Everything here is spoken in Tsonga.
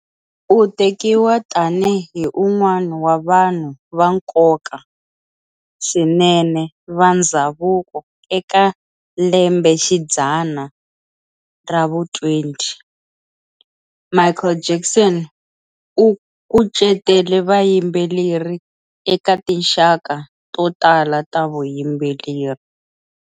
U tekiwa tani hi un'wana wa vanhu va nkoka swinene va ndzhavuko eka lembe xidzana ra vu 20. Michael Jackson u kucetele vayimbeleri eka tinxaka to tala ta vuyimbeleri.